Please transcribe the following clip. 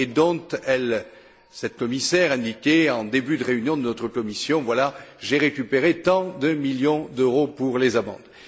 et au sujet desquelles elle cette commissaire indiquait en début de réunion de notre commission Voilà, j'ai récupéré tant de millions d'euros pour les amendes.